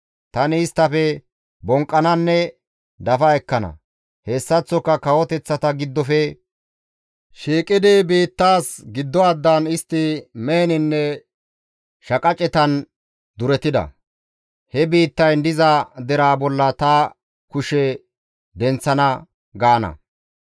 Tani isttafe bonqqananne dafa ekkana; hessaththoka kawoteththata giddofe shiiqidi biittaas giddo addan daana; istti meheninne shaqacetan duretida, he biittayn diza deraa bolla ta kushe denththana› gaana.